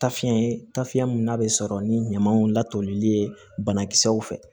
Tafiɲɛ ye tafeya min n'a be sɔrɔ ni ɲamaw latoli ye banakisɛw fɛ